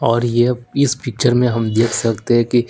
और ये इस पिक्चर में हम देख सकते हैं कि--